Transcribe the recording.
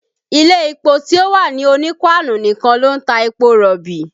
Ilé epo ti o wà ní Onípáánù nìkan ló ń ta epo rọ̀bì